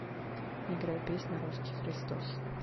играй песня русский христос